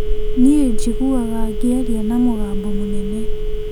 Niĩ njiguaga ngĩaria na mũgambo mũnene